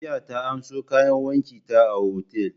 Jiya ta amso kayan wanki ta a otal.